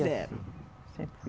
Eram? Sempre foi